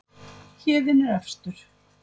Héðinn er efstur